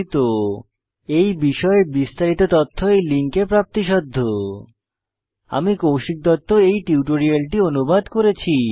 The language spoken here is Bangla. এই বিষয়ে বিস্তারিত তথ্য এই লিঙ্কে প্রাপ্তিসাধ্য spoken hyphen tutorial dot org slash ন্মেইক্ট হাইফেন ইন্ট্রো আমি এই কৌশিক দত্ত টিউটোরিয়ালটি অনুবাদ করেছি